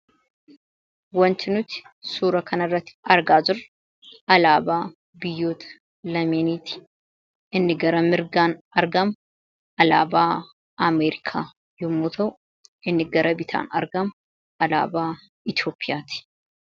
Wanti nuti suura kana irratti argaa jirru alaabaa biyyoota lameeniiti. Inni gara mirgaan argamu alaabaa Ameerikaa yommuu ta'u inni gara bitaan argamu alaabaa Itiyoophiyaatii.